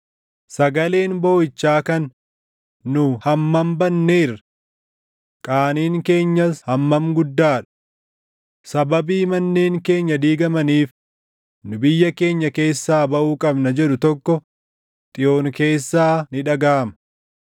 Sagaleen booʼichaa kan, ‘Nu hammam badneerra! Qaaniin keenyas hammam guddaa dha! Sababii manneen keenya diigamaniif nu biyya keenya keessaa baʼuu qabna’ jedhu tokko // Xiyoon keessaa ni dhagaʼama.”